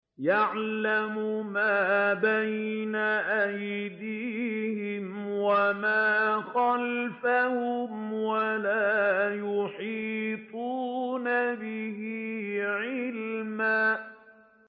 يَعْلَمُ مَا بَيْنَ أَيْدِيهِمْ وَمَا خَلْفَهُمْ وَلَا يُحِيطُونَ بِهِ عِلْمًا